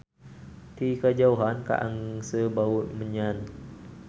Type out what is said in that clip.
Ti kajauhan kaangse bau menyan.